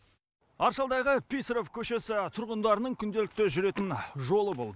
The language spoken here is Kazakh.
аршалыдағы писарев көшесі тұрғындарының күнделікті жүретін жолы бұл